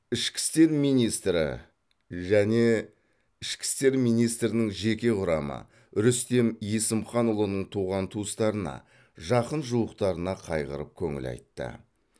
ішкі істер министрі және ішкі істер министрінің жеке құрамы рүстем есімханұлының туған туыстарына жақын жуықтарына қайғырып көңіл айтты